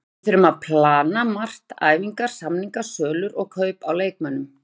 Við þurfum að plana margt, æfingar, samningar, sölur og kaup á leikmönnum.